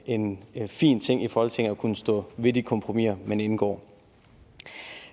en fin ting i folketinget at kunne stå ved de kompromiser man indgår